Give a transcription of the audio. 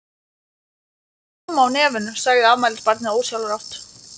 Þú ert með rjóma á nefinu, sagði afmælisbarnið ósjálfrátt.